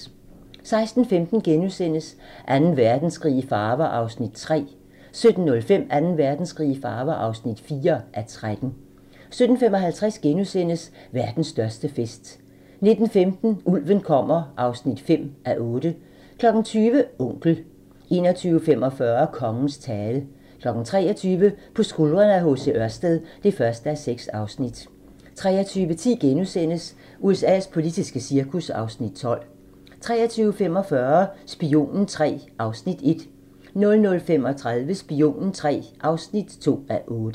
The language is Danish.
16:15: Anden Verdenskrig i farver (3:13)* 17:05: Anden Verdenskrig i farver (4:13) 17:55: Verdens største fest * 19:15: Ulven kommer (5:8) 20:00: Onkel 21:45: Kongens tale 23:00: På skuldrene af H.C. Ørsted (1:6) 23:10: USA's politiske cirkus (Afs. 12)* 23:45: Spionen III (1:8) 00:35: Spionen III (2:8)